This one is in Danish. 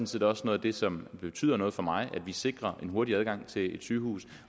set også noget af det som betyder noget for mig at vi sikrer en hurtigere adgang til et sygehus